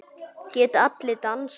Geta allir dansað?